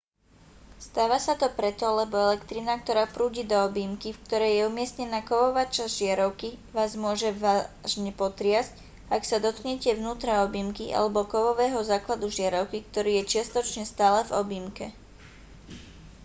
stáva sa to preto lebo elektrina ktorá prúdi do objímky v ktorej je umiestnená kovová časť žiarovky vás môže vážne potriasť ak sa dotknete vnútra objímky alebo kovového základu žiarovky ktorý je čiastočne stále v objímke